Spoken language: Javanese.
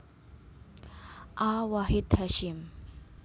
A Wahid Hasyim